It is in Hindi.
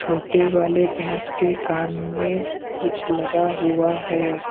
मोटे वाले भैंस के कान में कुछ लगा हुआ है।